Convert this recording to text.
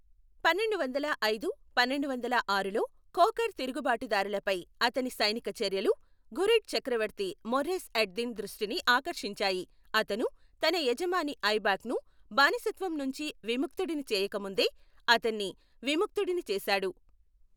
పన్నెండువందల ఐదు పన్నెండువందల ఆరులో ఖోఖర్ తిరుగుబాటుదారులపై అతని సైనిక చర్యలు, ఘురిడ్ చక్రవర్తి మొర్రేస్ అడ్ దిన్ దృష్టిని ఆకర్షించాయి. అతను, తన యజమాని ఐబాక్ను బానిసత్వం నుంచి విముక్తుడిని చేయక ముందే అతన్ని విముక్తుడిని చేశాడు.